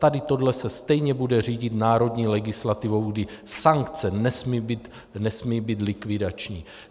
Tady to se stejně bude řídit národní legislativou, kdy sankce nesmí být likvidační.